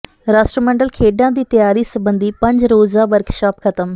ਰਾਸ਼ਟਰਮੰਡਲ ਖੇਡਾਂ ਦੀ ਤਿਆਰੀ ਸਬੰਧੀ ਪੰਜ ਰੋਜ਼ਾ ਵਰਕਸ਼ਾਪ ਖ਼ਤਮ